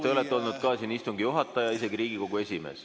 Te olete olnud ka siin istungi juhataja, isegi Riigikogu esimees.